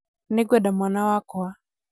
nĩngwenda mwana wakwa